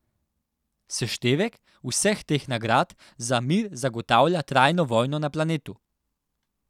Seštevek vseh teh nagrad za mir zagotavlja trajno vojno na planetu.